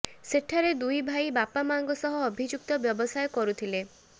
ସେଠାରେ ଦୁଇଭାଇ ବାପା ମାଆଙ୍କ ସହ ଅଭିଯୁକ୍ତ ବ୍ୟବସାୟ କରୁଥିଲେ